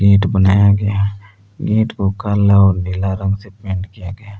ईंट बनाया गया है ईंट को काला नीला रंग से पेंट किया गया है।